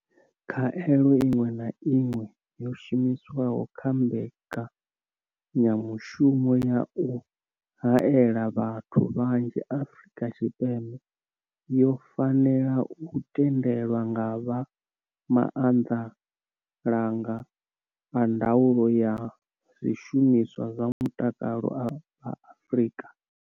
Khaelo iṅwe na iṅwe yo shumiswaho kha mbekanya mushumo ya u haela vhathu vhanzhi Afrika Tshipembe yo fanela u tendelwa nga vha Maanḓalanga a Ndaulo ya Zwishumiswa zwa Mutakalo vha Afrika.